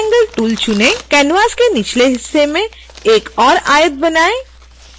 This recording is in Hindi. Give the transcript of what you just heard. canvas के निचले हिस्से में एक और आयत बनाएं